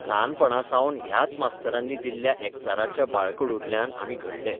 ल्हानपणासावन ह्याच मास्तरांनी दिल्ल्या एकचाराच्या बाळकडूंतल्यान आमी घडिल्ले.